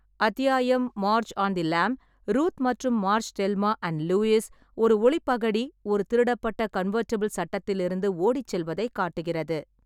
அத்தியாயம் "Marge on the lam" Ruth மற்றும் Marge Thelma & Louise ஒரு ஒளி பகடி ஒரு திருடப்பட்ட கன்வெர்ட்டிபிள் சட்டத்திலிருந்து ஓடிச் செல்வதைக் காட்டுகிறது.